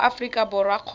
wa mo aforika borwa kgotsa